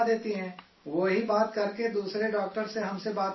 وہ ہی بات کرکے دوسرے ڈاکٹر سے ہم سے بات کراتی ہیں